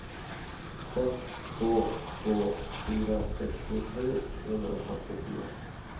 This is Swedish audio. sex två två fyra sextiosju sjuhundrafyrtiofyra